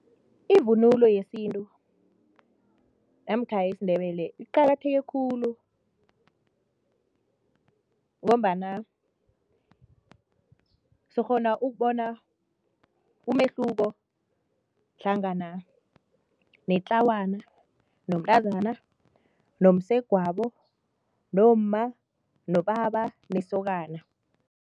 Ivunulo yesintu namkha yisiNdebele iqakatheke khulu ngombana sikghona ukubona umehluko hlangana netlawana, nomntazana, nomsegwabo nomma, nobaba nesokana.